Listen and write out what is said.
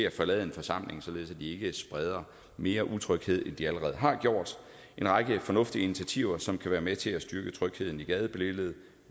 at forlade en forsamling således at de ikke spreder mere utryghed end de allerede har gjort det en række fornuftige initiativer som kan være med til at styrke trygheden i gadebilledet